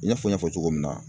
I n'a fɔ n y'a fɔ cogo min na.